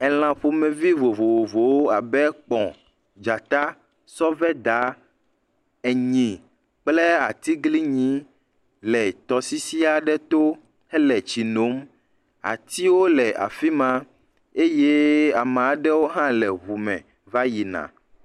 Elã ƒomevi vovovowo abe; kpɔ, dzata, sɔveda, enyi kple atiglinyi le tɔsisi aɖe to hele tsi no. atsiwo le afi ma eye ame aɖewo hã le ŋu me va yina.